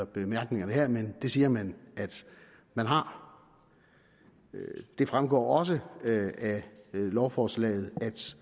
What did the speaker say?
bemærkningerne her men det siger man at man har det fremgår også af lovforslaget